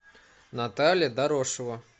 наталья дорошева